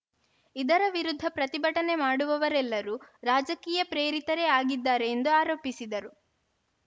ಇದರ ವಿರುದ್ಧ ಪ್ರತಿಭಟನೆ ಮಾಡುವವರೆಲ್ಲರೂ ರಾಜಕೀಯ ಪ್ರೇರಿತರೇ ಆಗಿದ್ದಾರೆ ಎಂದು ಆರೋಪಿಸಿದರು